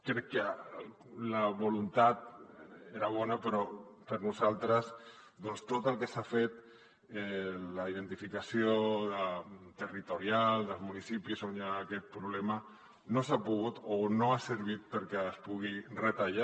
crec que la voluntat era bona però per nosaltres doncs tot el que s’ha fet la identificació territorial dels municipis on hi ha aquest problema no ha servit perquè es pugui retallar